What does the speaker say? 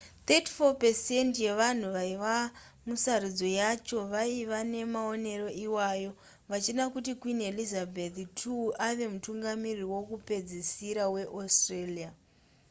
34% yevanhu vaiva musarudzo yacho vaiva nemaonero iwayo vachida kuti queen elizabeth ii ave mutungamiriri wekupedzisira weaustralia